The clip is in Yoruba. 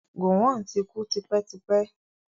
Gọ̀wọn ti kú tipẹ́tipẹ́.